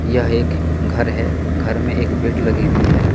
यह एक घर है घर में एक बेड लगी हुई है।